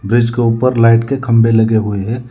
Bridge के ऊपर light के खंबे लगे हुए हैं।